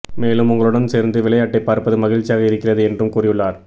மேலும் உங்களுடன் சேர்ந்து விளையாட்டை பார்ப்பது மகிழ்ச்சியாக இருக்கிறது என்றும் கூறியுள்ளார்